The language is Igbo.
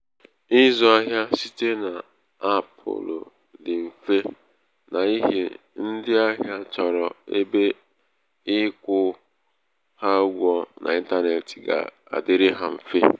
ịzụ ahịa site n-apulu dị mfe n'ihi ndị ahịa chọrọ ebe ịkwụ ha ụgwọ n'intanetị ga-adịrị ha mfe.